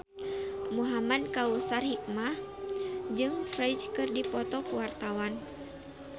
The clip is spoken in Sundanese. Muhamad Kautsar Hikmat jeung Ferdge keur dipoto ku wartawan